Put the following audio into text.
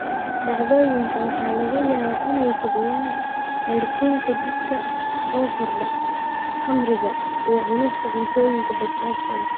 Dhacdooyinka waxaa laga yaabaa inay kiciyaan heerkulka jidhka oo kordha, khamriga, iyo cunista cuntooyinka basbaaska leh.